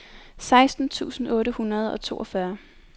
seksten tusind otte hundrede og toogfyrre